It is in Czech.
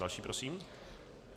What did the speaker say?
Další prosím.